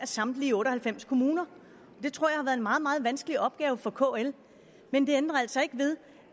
samtlige otte og halvfems kommuner det tror jeg har været en meget meget vanskelig opgave for kl men det ændrer altså ikke ved